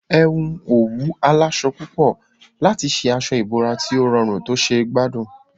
Ẹ hun òwú aláwọ̀ púpọ̀ papọ̀ láti ṣe aṣọ ìbora tí ó rọrùn tó ṣe gbádùn